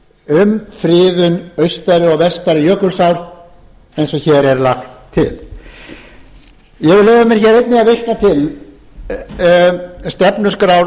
um friðun austari og vestari jökulsár eins og hér er lagt til ég vil leyfa mér hér einnig að vitna til stefnuskrár